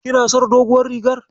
Kina son doguwar rigar.